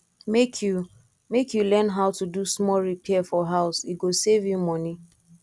make you make you learn how to do small repair for house e go save you money